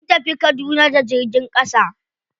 Sun tafi kaduna da jirgin ƙasa.